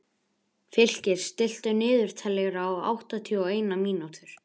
Fylkir, stilltu niðurteljara á áttatíu og eina mínútur.